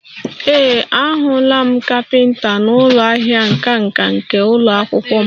Ee, ahụla m caliper n'ụlọ ahịa nka nka nke ụlọ akwụkwọ m